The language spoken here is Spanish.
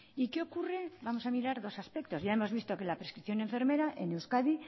y qué ocurre vamos a mirar dos aspectos ya hemos visto que la prescripción enfermera en euskadi